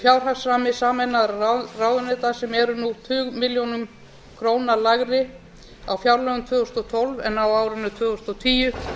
fjárhagsrammi sameinaðra ráðuneyta sem eru nú tugmilljónum krónum lægri á fjárlögum tvö þúsund og tólf en á árinu tvö þúsund og tíu